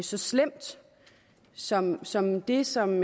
så slemt som som det som